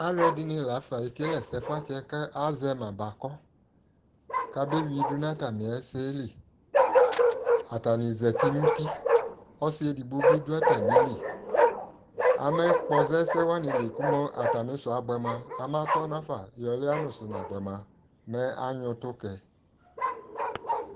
Alʊɛdɩnɩ lafa ekele ɛsɛfuatsi kʊ alʊma bakɔ kabe wuidu nʊ atamɩ ɛsɛlɩ atanɩ zatɩ nʊ ʊtɩ ɔsɩ edigbobi dʊ atamɩlɩ amakpɔza ɛsewanɩlɩ kʊmʊ atamɩ ɛsɛ abʊɛ mua amatɔ nʊafa ɔlʊyɛsʊ nabʊɛ mua ama nyʊɛ ʊtʊ kayi